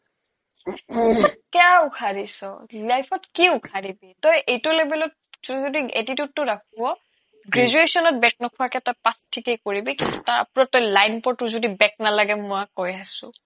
কেয়া ওখাৰিচ life ত কি ওখাৰিবি তই এইটো লেবেলত যদি attitude ৰাখ graduation ত back নোখোৱাকে pass ঠিকে কৰিবি তাৰ life টো back নালাগে মই কৈ আছো